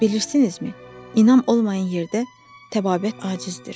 Bilirsinizmi, inam olmayan yerdə təbabət acizdir.